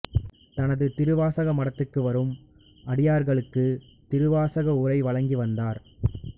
த்னது திருவாசக மடத்துக்கு வரும் அடியார்களுக்கு திருவாசக உரை வழங்கி வந்தார்